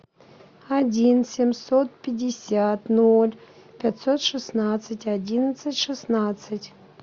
один семьсот пятьдесят ноль пятьсот шестнадцать одиннадцать шестнадцать